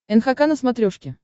нхк на смотрешке